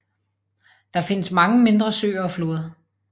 Der findes mange mindre søer og floder